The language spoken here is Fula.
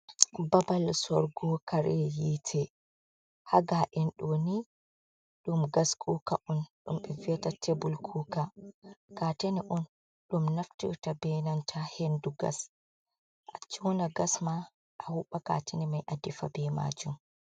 babal sorrugo kare yiite haa ga’en doo ni dum gas kuuka on dum be wi'ata tebul kuka kaatane on dum naftirta benanta hendu gas a joona gas ma a hubba kaatane mai a defa bee maajum.